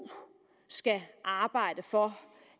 skal arbejde for